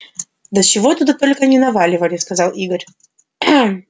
да чего только туда не наливали сказал игорь